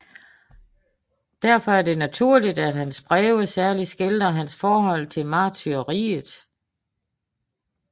Derfor er det naturligt at hans breve særligt skildrer hans forhold til martyriet